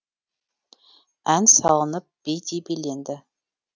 ән салынып би де биленді